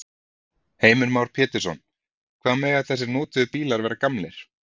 Heimir Már Pétursson: Hvað mega þessir notuðu bílar vera gamlir?